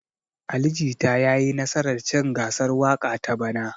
Ali Jita ya yi nasar cin gasar waƙa ta bana.